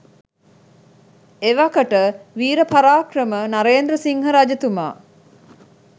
එවකට විර පරාක්‍රම නරේන්ද්‍රසිංහ රජතුමා